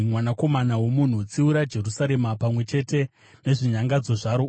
“Mwanakomana womunhu, tsiura Jerusarema pamwe chete nezvinyangadzo zvaro